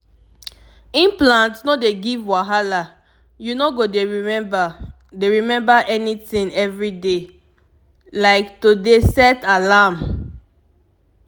implant no dey give wahala you no go dey remember dey remember anything every day small pause like to dey set alarm!